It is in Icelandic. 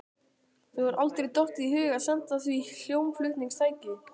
Þér hefur aldrei dottið í hug að senda því hljómflutningstæki?